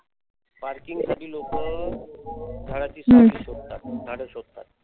parking साठी लोकं झाडाची सावली शोधतात. झाडं शोधतात.